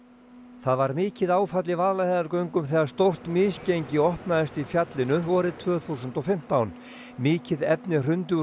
það var mikið áfall í Vaðlaheiðargöngum þegar stórt misgengi opnaðist í fjallinu vorið tvö þúsund og fimmtán mikið efni hrundi úr